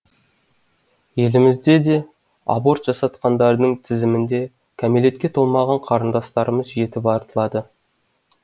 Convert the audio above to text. елімізде де аборт жасатқандардың тізімінде кәмелетке толмаған қарындастарымыз жетіп артылады